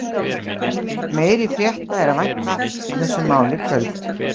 Meiri frétta er að vænta af þessu máli í kvöld.